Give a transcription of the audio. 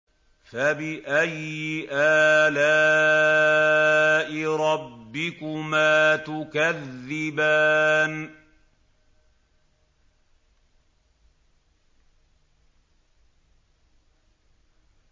فَبِأَيِّ آلَاءِ رَبِّكُمَا تُكَذِّبَانِ